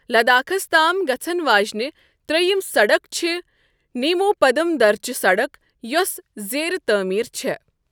لداخس تام گژھن واجینہِ ترییِم سڈک چھ نیمو پدم درچہ سڑک یوسہٕ زیر تعمیر چھےٚ۔